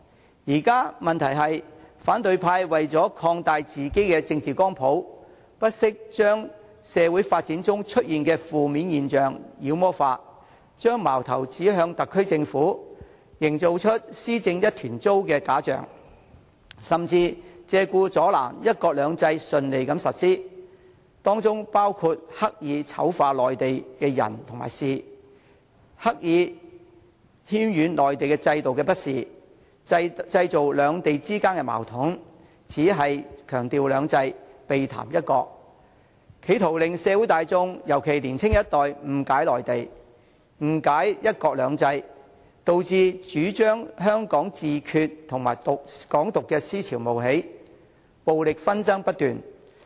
現時的問題是，反對派為了擴大自己的政治光譜，不惜將社會發展中出現的負面現象"妖魔化"，將矛頭指向特區政府，營造出"施政一團糟"的假象，甚至借故阻撓"一國兩制"順利實施，包括刻意醜化內地的人和事，刻意渲染內地制度的不是，製造兩地之間的矛盾，只強調"兩制"，避談"一國"，企圖令社會大眾尤其是年輕一代誤解內地及"一國兩制"，導致主張香港自決和"港獨"的思潮冒起，暴力紛爭不斷。